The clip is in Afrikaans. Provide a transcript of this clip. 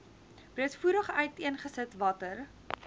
breedvoerig uiteengesit watter